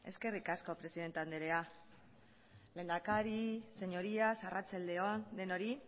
eskerrik asko presidente andrea lehendakari señorías arratsalde on denoi